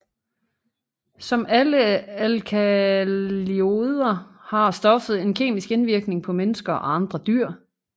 Som andre alkaloider har stoffet en kemisk indvirkning på mennesker og andre dyr